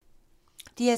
DR2